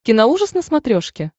киноужас на смотрешке